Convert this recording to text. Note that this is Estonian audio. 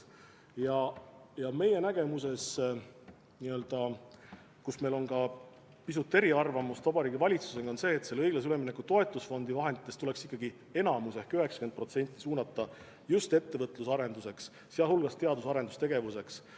Meie nägemus, mis pisut Vabariigi Valitsuse nägemusest erineb, on see, et õiglase ülemineku toetusfondi vahenditest tuleks enamik ehk 90% suunata just ettevõtluse arendamiseks, sh teadus- ja arendustegevuseks.